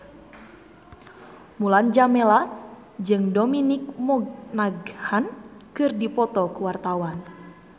Mulan Jameela jeung Dominic Monaghan keur dipoto ku wartawan